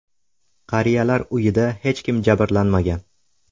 Qariyalar uyida hech kim jabrlanmagan.